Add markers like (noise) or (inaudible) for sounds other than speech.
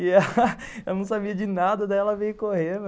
(laughs) Ela não sabia de nada, daí ela veio correndo.